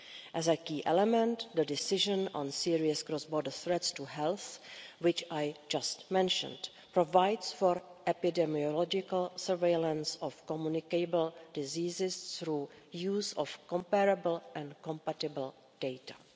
As a key element, the decision on serious cross-border threats to health, which I have just mentioned, provides for epidemiological surveillance of communicable diseases through the use of comparable and compatible data.